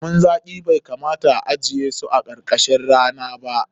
Lemun zaƙi bai kamata a ajiye su karkashin rana ba.